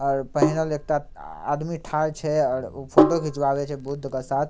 और पहिनल एकटा आदमी ठार छै और ऊ फोटो खिंचवाबे छै बुद्ध के साथ।